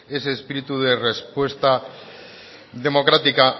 ese espíritu de respuesta democrática